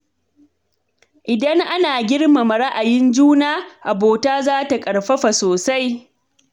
Idan ana girmama ra’ayin juna, to abota za ta ƙarfafa sosai.